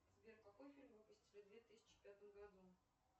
сбер какой фильм выпустили в две тысячи пятом году